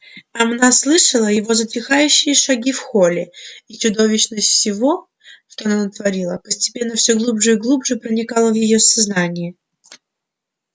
она слышала его затихающие шаги в холле и чудовищность всего что она натворила постепенно всё глубже и глубже проникала в её сознание